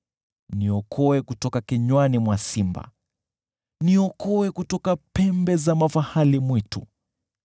Niokoe kutoka kinywani mwa simba, niokoe kutoka pembe za mafahali mwitu.